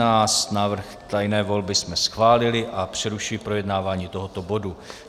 Návrh tajné volby jsme schválili a přerušuji projednávání tohoto bodu.